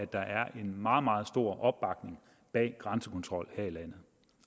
der er en meget meget stor opbakning bag en grænsekontrol her i landet